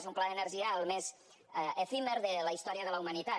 és un pla d’energia el més efímer de la història de la humanitat